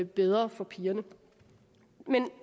bedre for pigerne